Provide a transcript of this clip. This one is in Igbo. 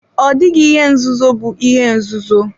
Ọ dịghị ihe nzuzo bụ ihe nzuzo.